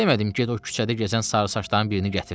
Demədim get o küçədə gəzən sarısaçların birini gətir.